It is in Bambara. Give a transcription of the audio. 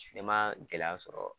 Ne ma gɛlɛya sɔrɔ